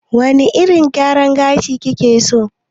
Wane irin gyaran gashi kike so?